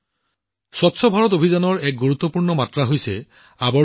বন্ধুসকল সম্পদৰ বাবে আৱৰ্জনা স্বচ্ছ ভাৰত অভিযানৰ এক গুৰুত্বপূৰ্ণ মাত্ৰা